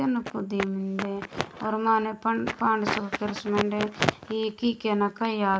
ओर माने पाण्डे संग कर्स मेंडे ई की केना कइया।